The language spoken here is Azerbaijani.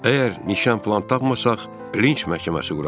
Əgər nişan falan tapmasaq, Linç məhkəməsi quraarıq,